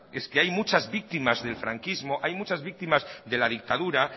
es que hay muchas víctimas del franquismo hay muchas víctimas de la dictadura